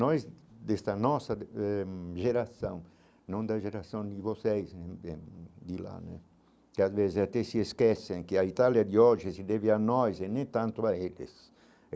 Nós, desta nossa eh geração, não da geração de vocês, de lá né, que às vezes até se esquecem, que a Itália de hoje se deve a nós e nem tanto a eles.